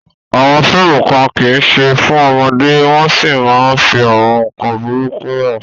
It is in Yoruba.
Àwọn fíìmù kan kì í ṣe fún ọmọdé wọ́n sì máa ń fi àwọn nkan burúkú hàn.